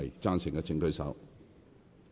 贊成的請舉手。